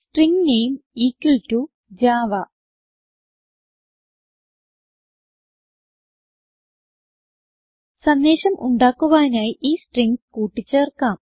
string name equal to Java സന്ദേശം ഉണ്ടാക്കുവാനായി ഈ സ്ട്രിംഗ്സ് കൂട്ടി ചേർക്കാം